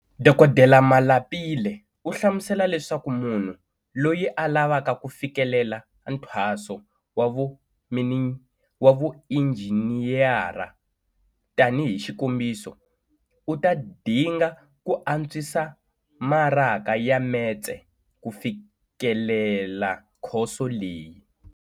Dkd Malapile u hlamusela leswaku munhu loyi a lavaka ku fikelela nthwaso wa vuinjhiniyara, tanihi xikombiso, u ta dinga ku antswisa maraka ya metse ku fikelela khoso leyi.